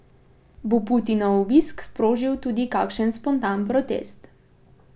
Bo Putinov obisk sprožil tudi kakšen spontan protest?